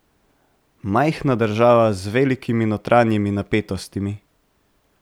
Majhna država z velikimi notranjimi napetostmi.